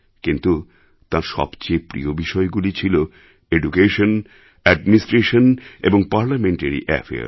কিন্তু তাঁর সবচেয়ে প্রিয় বিষয়গুলি ছিল এডুকেশন অ্যাডমিনিস্ট্রেশন এবং পার্লামেন্টারি Affairs